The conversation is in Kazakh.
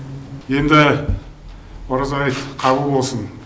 енді ораза айт қабыл болсын